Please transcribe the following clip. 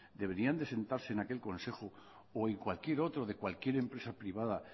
deberían de sentarse en aquel consejo o en cualquier otro de cualquier empresa privada